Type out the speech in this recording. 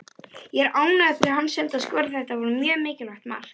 Ég er ánægður fyrir hans hönd að skora, þetta var mjög mikilvægt mark.